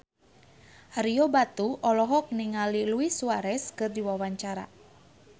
Ario Batu olohok ningali Luis Suarez keur diwawancara